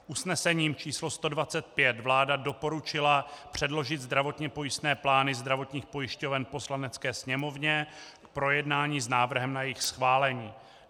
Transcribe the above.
Usnesením číslo 125 vláda doporučila předložit zdravotně pojistné plány zdravotních pojišťoven Poslanecké sněmovně k projednání s návrhem na jejich schválení.